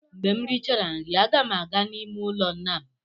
Mgbe m richara nri, aga m aga n'ime ụlọ nna m.